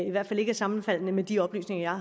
i hvert fald ikke er sammenfaldende med de oplysninger